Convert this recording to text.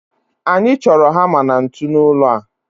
Anyị chọrọ hama na ntu n'ụlọ a